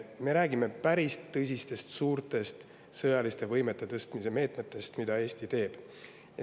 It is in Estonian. Me räägime päris suurtest sõjaliste võimete tõstmise meetmetest, mida Eesti on võtnud.